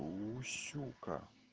уу сюка